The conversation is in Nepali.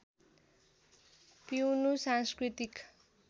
पिउनु सांस्कृतिक